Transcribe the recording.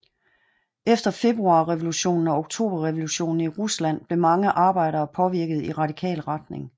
Efter februarrevolutionen og oktoberrevolutionen i Rusland blev mange arbejdere påvirket i radikal retning